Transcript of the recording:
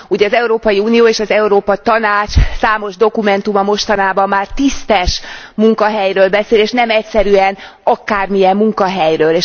Az Európai Unió és az Európa Tanács számos dokumentuma mostanában már tisztes munkahelyről beszél, és nem egyszerűen akármilyen munkahelyről.